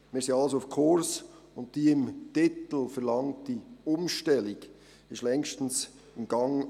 Wir befinden uns also auf Kurs, und die im Titel der Motion verlangte Umstellung ist längst in Gang.